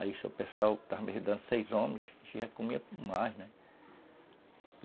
Aí, se o pessoal estava me ajudando, seis homens, a gente já comia mais, né?